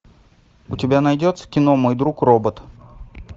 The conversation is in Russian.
у тебя найдется кино мой друг робот